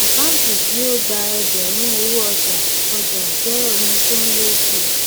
àkántì tí ó gba ẹgbẹrún owó ọjà ọjà jẹ oun tó n lẹ síi